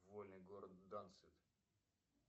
вольный город данциг